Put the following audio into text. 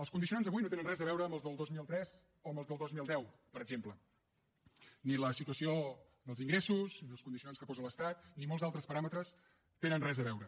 els condicionants d’avui no tenen res a veure amb els del dos mil tres o amb els del dos mil deu per exemple ni la situació dels ingressos ni els condicionants que posa l’estat ni molts altres paràmetres hi tenen res a veure